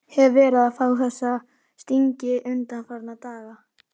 Hef verið að fá þessa stingi undanfarna daga.